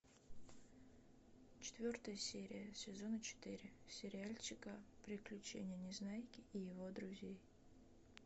четвертая серия сезона четыре сериальчика приключения незнайки и его друзей